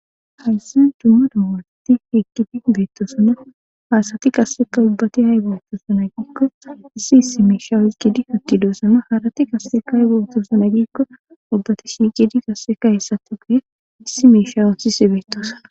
haysan dumma dawalati eqkidi beettosunna haasati qasseka ubbati hay boottosuna giikko issi issi miisha hiqidi hitti doosama haarati qasseka hay bootosuna giikko ubbati shiicidi qasseka hessati guye issi miishawonsise beettosana